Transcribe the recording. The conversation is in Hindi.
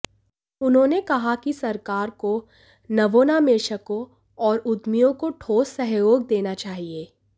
उन्होंने कहा कि सरकार को नवोन्मेषकों और उद्यमियों को ठोस सहयोग देना चाहिए